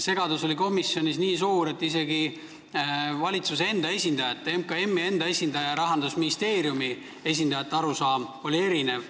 Komisjonis oli segadus nii suur, et isegi valitsuse enda esindajate, MKM-i ja Rahandusministeeriumi esindajate arusaamad oli erinevad.